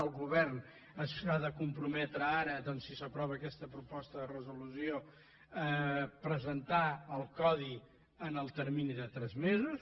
el govern s’ha de comprometre ara doncs si s’aprova aquesta proposta de resolució a presentar el codi en el termini de tres mesos